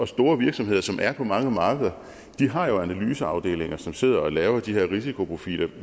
store virksomheder som er på mange markeder har jo analyseafdelinger som sidder og laver de her risikoprofiler